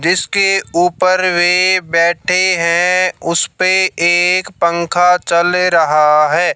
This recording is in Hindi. जिसके ऊपर वे बैठे हैं उसपे एक पंखा चल रहा है।